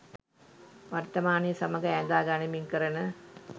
වර්තමානය සමඟ ඈඳා ගනිමින් කරන